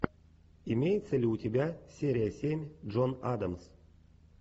имеется ли у тебя серия семь джон адамс